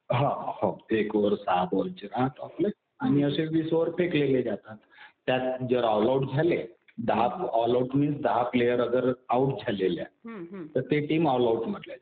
हा हो. एक ओव्हर सहा बॉलचा राहतो. आणि असे वीस ओव्हर फेकले गेले जातात. त्यात जर ऑल आऊट झाले, दहा ऑल आऊट होईल. दहा प्लेयर अगर आऊट झालेले आहे तर ते टीम ऑल आऊट म्हटल्या जाते.